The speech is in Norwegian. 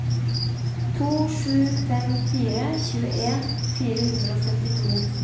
to sju fem fire tjueen fire hundre og syttito